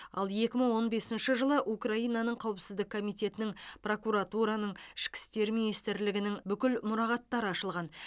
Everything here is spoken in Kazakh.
ал екі мың он бесінші жылы украинаның қауіпсіздік комитетінің прокуратураның ішкі істер министрлігінің бүкіл мұрағаттары ашылған